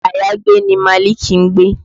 Ilẹ́ àyágbé ni Malik ń gbé